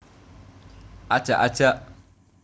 Ajak ajak